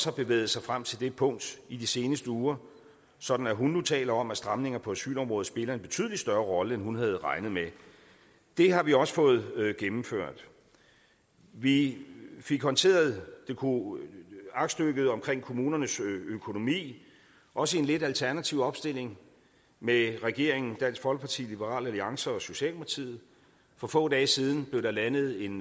har bevæget sig frem til det punkt i de seneste uger sådan at hun nu taler om at stramninger på asylområdet spiller en betydelig større rolle end hun havde regnet med det har vi også fået gennemført vi fik håndteret aktstykket om kommunernes økonomi også i en lidt alternativ opstilling med regeringen dansk folkeparti liberal alliance og socialdemokratiet for få dage siden blev der landet en